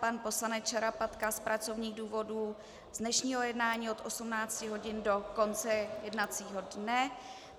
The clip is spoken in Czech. Pan poslanec Šarapatka z pracovních důvodů z dnešního jednání od 18 hodin do konce jednacího dne.